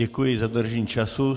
Děkuji za dodržení času.